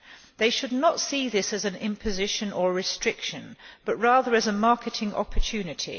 They should not see this as an imposition or a restriction but rather as a marketing opportunity.